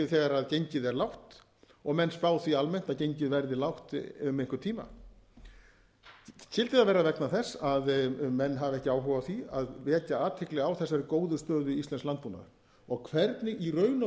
þegar gengið er lágt og menn spá því almennt að gengið verði lágt um einhvern tíma skyldi það vera vegna þess að menn hafa ekki áhuga á því að vekja athygli á þessari góðu stöðu íslensks landbúnaðar og hvernig í raun og